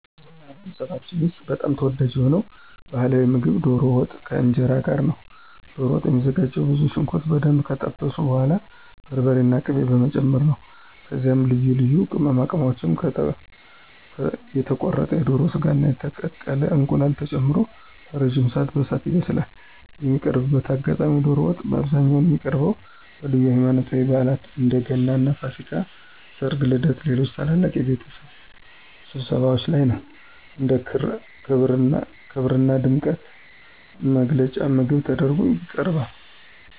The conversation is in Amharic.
በማኅበረሰባችን ውስጥ በጣም ተወዳጅ የሆነው ባሕላዊ ምግብ ዶሮ ወጥ ከእንጀራ ጋር ነው። ዶሮ ወጥ የሚዘጋጀውም ብዙ ሽንኩርት በደንብ ከጠበሱ በኋላ በርበሬና ቅቤ በመጨመር ነው። ከዚያም ልዩ ልዩ ቅመማ ቅመሞች፣ የተቆረጠ የዶሮ ሥጋና የተቀቀለ እንቁላል ተጨምሮ ለረጅም ሰዓት በእሳት ይበስላል። የሚቀርብበት አጋጣሚም ዶሮ ወጥ በአብዛኛው የሚቀርበው በልዩ ሃይማኖታዊ በዓላት (እንደ ገናና ፋሲካ)፣ ሠርግ፣ ልደትና ሌሎች ታላላቅ የቤተሰብ ስብሰባዎች ላይ ነው። እንደ ክብርና ድምቀት መግለጫ ምግብ ተደርጎ ይቀርባል።